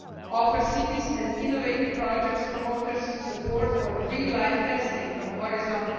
offer cities and innovative projects promoters support for real-life testing under Horizon